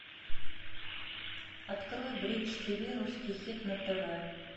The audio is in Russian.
открой бридж тиви русский хит на тв